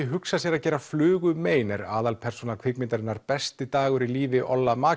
hugsað sér að gera flugu mein er aðalpersóna kvikmyndarinnar besti dagur í lífi